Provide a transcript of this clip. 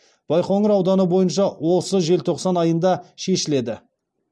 байқоңыр ауданы бойынша осы желтоқсан айында шешіледі